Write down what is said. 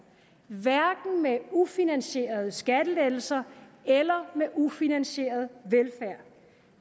hverken med ufinansierede skattelettelser eller med ufinansieret velfærd